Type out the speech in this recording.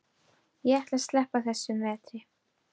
Ég ætla að sleppa þessum vetri.